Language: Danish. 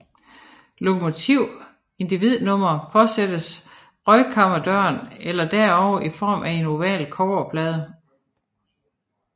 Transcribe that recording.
Lokomotiv individnummer påsattes røgkammerdøren eller derover i form af en oval kobberplade